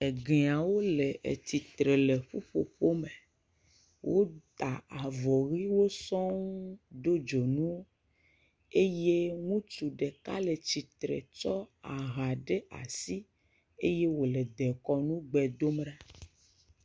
Egeawo le tsitre le ƒuƒoƒo me wota avɔ ʋiwo sɔŋ do dzonu eye ŋutsu ɖeka le tsitre tsɔ aha ɖe asi eye wòle dekɔnu gbe dom ɖa.